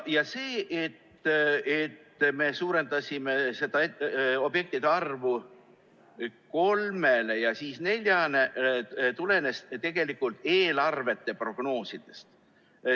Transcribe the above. See, et me suurendasime objektide arvu kolmele ja siis neljale, tulenes tegelikult eelarvete prognoosidest.